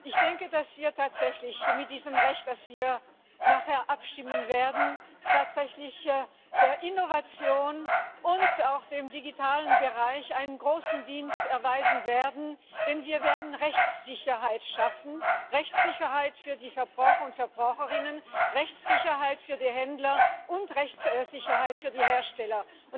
Ich denke, dass wir tatsächlich mit diesem Recht, über das wir nachher abstimmen werden, tatsächlich der Innovation und auch im digitalen Bereich einen großen Dienst erweisen werden, denn wir werden Rechtssicherheit schaffen, Rechtssicherheit für die Verbraucher und Verbraucherinnen, Rechtssicherheit für die Händler und Rechtssicherheit für die Hersteller.